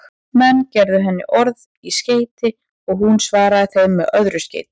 Menn gerðu henni orð í skeyti og hún svaraði þeim með öðru skeyti.